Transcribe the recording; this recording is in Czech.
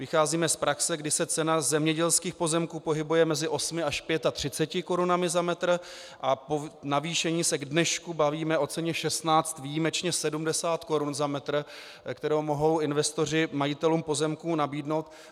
Vycházíme z praxe, kdy se cena zemědělských pozemků pohybuje mezi 8 až 35 korunami za metr, a po navýšení se k dnešku bavíme o ceně 16, výjimečně 70 korun za metr, kterou mohou investoři majitelům pozemků nabídnout.